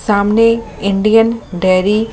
सामने Indian dairy --